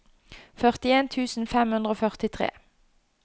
førtien tusen fem hundre og førtitre